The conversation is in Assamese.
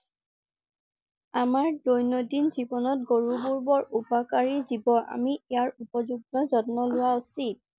আমাৰ দৈনন্দিন জীৱনত গৰুবোৰ বোৰ উপকাৰী জীৱ। আমি ইয়াৰ উপযুক্ত যত্ন লোৱা উচিত।